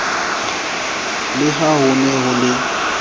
le ha hone ho le